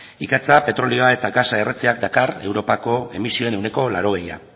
ikatza petroleoa eta gasa erretzeak dakar europako emisioen ehuneko laurogei